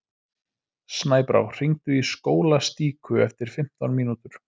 Snæbrá, hringdu í Skólastíku eftir fimmtán mínútur.